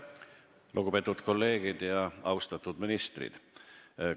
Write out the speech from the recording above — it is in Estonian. Lugupeetud kolleegid ja austatud ministrid!